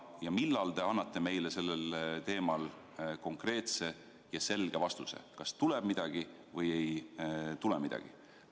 Ja millal te annate meile sellel teemal konkreetse ja selge vastuse, kas tuleb midagi või ei tule midagi?